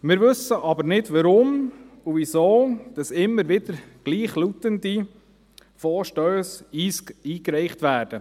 Wir wissen aber nicht, warum und wieso immer wieder gleichlautende Vorstösse eingereicht werden.